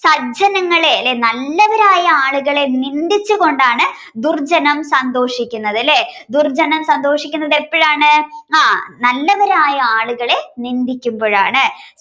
സജ്ജനങ്ങളെ അല്ലെ നല്ലവരായ ആളുകളെ നിന്ദിച്ചു കൊണ്ടാണ് ദുർജ്ജനം സന്തോഷിക്കുന്നത് ലെ ദുർജ്ജനം സന്തോഷിക്കുന്നത് എപ്പോഴാണ് ഹാ നല്ലവരായ ആളുകളെ നിന്ദിക്കുമ്പോഴാണ്